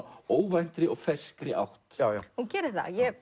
óvæntri og ferskri átt hún gerir það ég